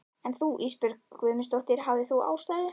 En þú Ísbjörg Guðmundsdóttir, hafðir þú ástæðu?